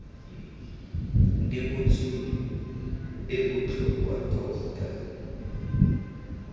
di butsweng e botlhokwa tota